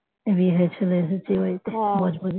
বিয়ে হয়ে চলে এসেছি এই বাড়িতে বজবজে